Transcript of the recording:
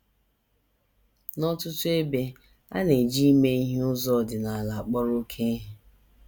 N’ọtụtụ ebe, a na - eji ime ihe n’ụzọ ọdịnala akpọrọ oké ihe.